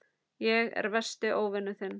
Ég er versti óvinur þinn.